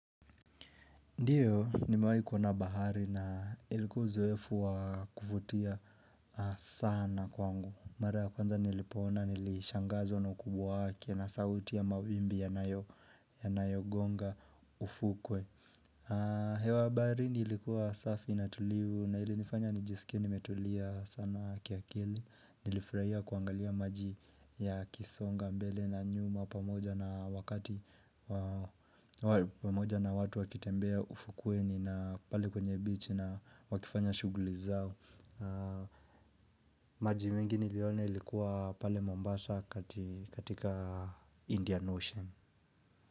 Ndiyo nimewai kuona bahari na ilikuwa uzoefu wa kuvutia sana kwangu Mara ya kwanza nilipoona nilishangazwa na ukubwa wake na sauti ya mawimbi yanayo, yanayo gonga ufukwe hewa ya baharini ilikuwa safi na tulivu na ili nifanya nijisikie nimetulia sana kiakili Nilifurahia kuangalia maji ya kisonga mbele na nyuma pamoja na watu wakitembea ufukweni na pale kwenye beach na wakifanya shuguli zao maji mingi nilione likuwa pale Mombasa katika Indian Ocean.